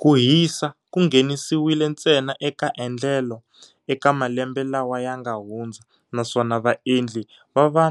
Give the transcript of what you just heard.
Ku hisa ku nghenisiwile ntsena eka endlelo eka malembe lawa yanga hundza, naswona vaendli va va